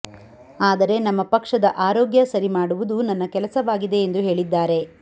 ಆದರೆ ನಮ್ಮ ಪಕ್ಷದ ಆರೋಗ್ಯ ಸರಿ ಮಾಡುವುದು ನನ್ನ ಕೆಲಸವಾಗಿದೆ ಎಂದು ಹೇಳಿದ್ದಾರೆ